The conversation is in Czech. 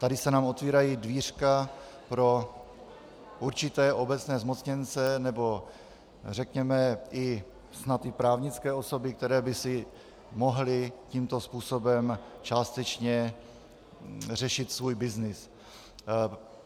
Tady se nám otevírají dvířka pro určité obecné zmocněnce, nebo řekněme i snad i právnické osoby, které by si mohly tímto způsobem částečně řešit svůj byznys.